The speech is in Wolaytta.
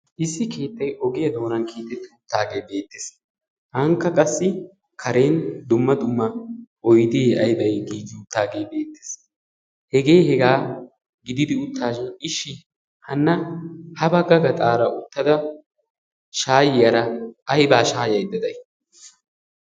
Issi keettay ogiyaa doonan keexxeti uttaage beettees. Ankka qassi karen dumma dumma oydde aybbay giigi uttaage bettees. Hege hegaa gididi uttashin ishi hana ha bagga gaxxaara uttada shayiyaara aybba shayaydda day?